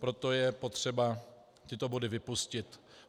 Proto je potřeba tyto body vypustit.